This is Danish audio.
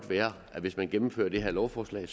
være at hvis man gennemfører det her lovforslag